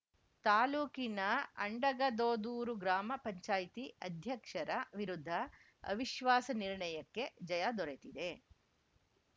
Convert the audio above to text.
ತಾಲೂಕಿನ ಅಂಡಗದೋದೂರು ಗ್ರಾಮ ಪಂಚಾಯ್ತಿ ಅಧ್ಯಕ್ಷರ ವಿರುದ್ಧ ಅವಿಶ್ವಾಸ ನಿರ್ಣಯಕ್ಕೆ ಜಯ ದೊರೆತಿದೆ